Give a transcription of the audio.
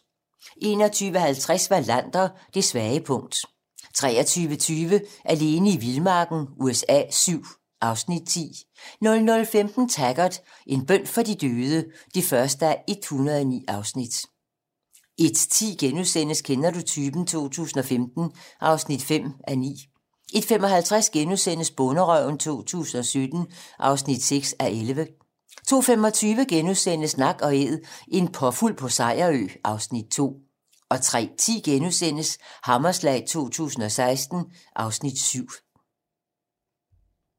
21:50: Wallander: Det svage punkt 23:20: Alene i vildmarken USA VII (Afs. 10) 00:15: Taggart: En bøn for de døde (1:109) 01:10: Kender du typen? 2015 (5:9)* 01:55: Bonderøven 2017 (6:11)* 02:25: Nak & Æd - en påfugl på Sejerø (Afs. 2)* 03:10: Hammerslag 2016 (Afs. 7)*